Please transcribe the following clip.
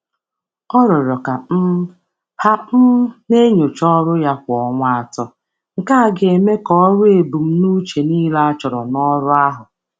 Ọ rịọrọ ka a na-enyochakwa ọrụ ya kwa ọrụ ya kwa ọnwa atọ ka ọ na-eruru ebumnuche ọrụ ya dị ogologo.